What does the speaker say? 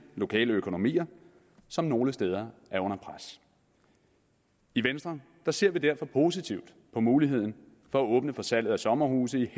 lokale økonomier som nogle steder er under pres i venstre ser vi derfor positivt på muligheden for at åbne for salg af sommerhuse i